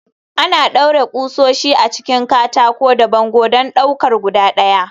Ana ɗaure ƙusoshi a cikin katako da bango don ɗaukar guda ɗaya.